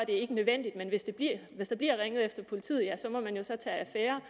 ikke nødvendigt men hvis der bliver ringet efter politiet ja så må man jo tage affære